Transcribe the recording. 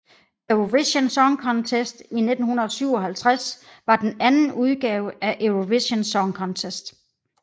Eurovision Song Contest 1957 var den anden udgave af Eurovision Song Contest